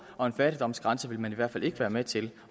og en fattigdomsgrænse vil man i hvert fald ikke være med til